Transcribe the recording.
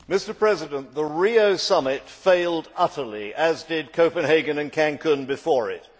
Mr President, the Rio Summit failed utterly, as did Copenhagen and Cancún before it.